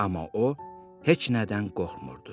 Amma o heç nədən qorxmurdu.